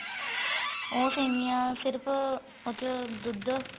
ਉਹ ਸੇਮੀਆਂ ਸਿਰਫ ਉਸ ਚ ਦੁੱਧ